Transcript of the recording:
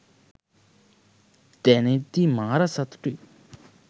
දැනෙද්දි මාර සතුටුයි.